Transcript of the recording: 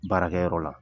Baarakɛyɔrɔ la